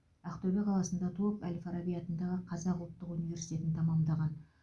ақтөбе қаласында туып әл фараби атындағы қазақ ұлттық университетін тәмамдаған